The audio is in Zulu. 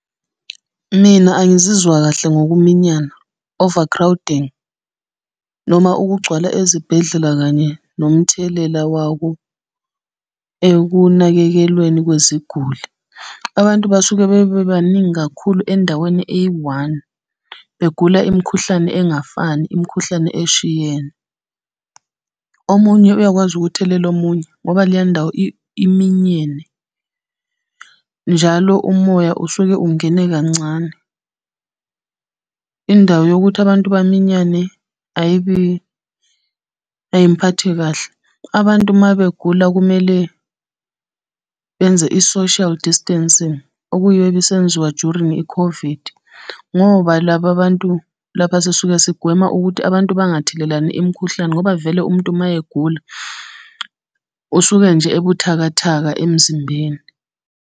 Mina angizizwa kahle ngokuminyama, overcrowding, noma ukugcwala ezibhedlela kanye nomthelela wawo ekunakekelweni kweziguli. Abantu basuke bebebaningi kakhulu endaweni eyi-one, begula imikhuhlane engafani, imikhuhlane eshiyene. Omunye uyakwazi ukuthelela omunye ngoba leya ndawo iminyene, njalo umoya usuke ungene kancane. Indawo yokuthi abantu baminyane ayibi, ayingiphathi kahle. Abantu uma begula kumele, benze i-social distancing, okuyiyo ebisenziwa during i-COVID, ngoba laba bantu, lapha sisuke sigwema ukuthi abantu bangathelelani imikhuhlane, ngoba vele umuntu mayegula, usuke nje ebuthakathaka emzimbeni.